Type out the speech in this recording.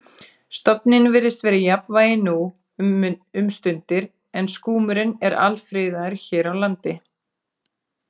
Stofninn virðist vera í jafnvægi nú um stundir en skúmurinn er alfriðaður hér á landi.